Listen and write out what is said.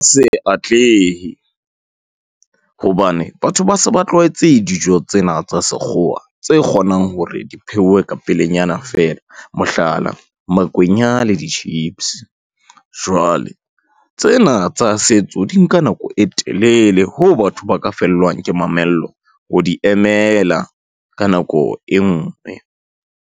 Se atlehe, hobane batho ba se ba tlwaetse dijo tsena tsa sekgowa, tse kgonang hore di pheuwe ka pelenyana fela. Mohlala, makwenya le di-chips, jwale tsena tsa setso di nka nako e telele hoo batho ba ka fellwang ke mamello ho di emela ka nako e ngwe.